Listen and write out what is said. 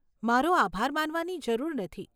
મારો આભાર માનવાની જરૂર નથી.